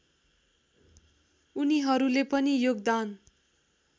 उनीहरूले पनि योगदान